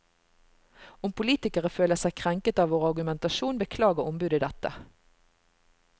Om politikere føler seg krenket av vår argumentasjon, beklager ombudet dette.